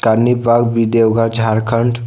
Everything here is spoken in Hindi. रानीबाग भी देवघर झारखंड --